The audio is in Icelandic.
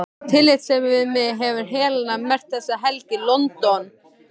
Af tillitssemi við mig hefur Helena merkt þessa helgi: London